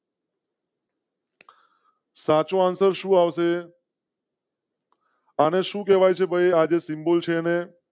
સાચો answer સુ આવશે અને શું આવશે? અને સુ કેવાય છે આજે સિમ્બોલ છે ને?